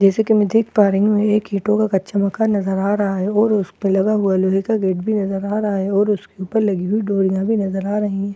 जैसा कि मैं देख पा रही हूं एक ईंटों का कच्चा मकान नजर आ रहा है और उस पर लगे हुए लोहे का गेट भी नजर आ रहा है और उसके ऊपर लगी हुई डोरिया भी नजर आ रही है उस--